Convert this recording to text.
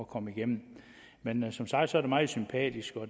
komme igennem men som sagt er det meget sympatisk